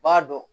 B'a dɔn